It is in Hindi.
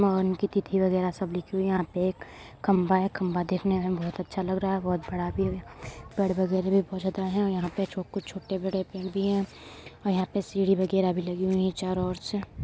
महन की तिथि वगेरा सब लिखी हुई है यहाँ पे एक खंम्बा है| खंम्बा देखने में बोहोत अच्छा लग रहा है| बोहोत बड़ा भी हैं पेड़ वगेरा भी बोहोत ज्यादा है और यहाँ पे जो कुछ छोटे बड़े पेड़ भी है और यहा पे सीढी वगैरह भी लगी है चारों ओर से।